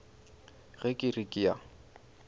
ge ke re ke a